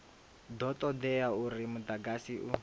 do todea uri mudagasi u